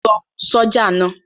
Lọ ṣọ̀já náà!